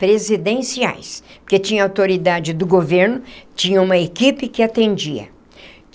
presidenciais, porque tinha autoridade do governo, tinha uma equipe que atendia.